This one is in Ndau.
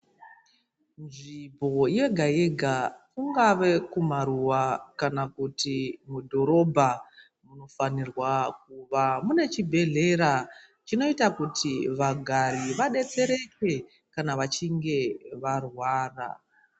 Nzvimbo yega-yega kungave kumaruwa kana kuti mudhorobha. Munofanirwa kuva mune chibhedhlera chinoita kuti vagari vadetsereke kana vachinge varwara.